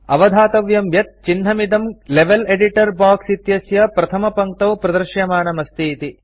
अवधातव्यं यत् चिह्नमिदं level editor box इत्यस्य प्रथमपङ्क्तौ प्रदृश्यमानमस्ति इति